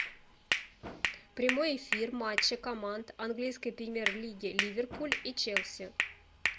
прямой эфир матча команд английской премьер лиги ливерпуль и челси